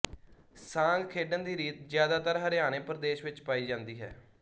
ਸਾਂਗ ਖੇਡਣ ਦੀ ਰੀਤ ਜਿਆਦਾਤਰ ਹਰਿਆਣੇ ਪ੍ਰਦੇਸ਼ ਵਿੱਚ ਪਾਈ ਜਾਂਦੀ ਹੈ